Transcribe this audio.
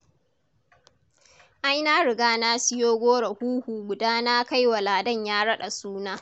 Ai na riga na siyo goro huhu guda na kai wa Ladan ya raɗa suna.